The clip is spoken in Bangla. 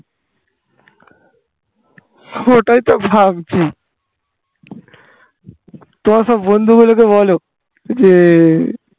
ওটাই তো ভাবছি তোমার সব বন্ধু গুলোকে বলো যে